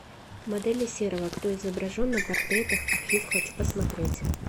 модели серова кто изображен на портретах архив хочу посмотреть